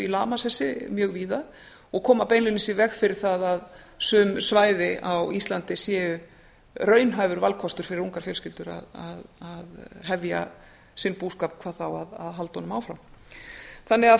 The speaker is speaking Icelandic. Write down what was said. lamasessi mjög víða og koma beinlínis í veg fyrir það að sum svæði á íslandi séu raunhæfur valkostur fyrir ungar fjölskyldur að hefja sinn búskap hvað þá að halda honum áfram